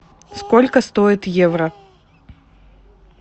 сколько стоит евро